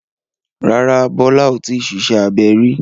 Rárá, Bólá ò tíì ṣiṣẹ́ abẹ rí.